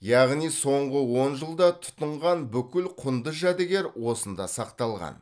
яғни соңғы он жылда тұтынған бүкіл құнды жәдігер осында сақталған